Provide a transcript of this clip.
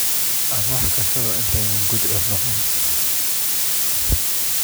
Aan wax karsado intaanay gudcur noqon